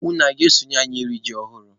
Unu a ga-eso anyị rie ji ọhụrụ?